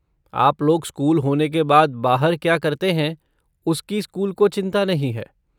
आप लोग स्कूल होने के बाद बाहर क्या करते हैं उसकी स्कूल को चिंता नहीं है।